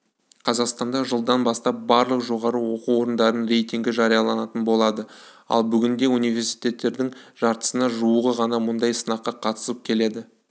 қазақстанда жылдан бастап барлық жоғары оқу орындарының рейтингі жарияланатын болады ал бүгінде университеттердің жартысына жуығы ғана мұндай сынаққа қатысып келеді